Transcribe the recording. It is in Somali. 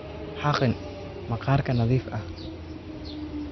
xaqin maqaarka nadiif ah.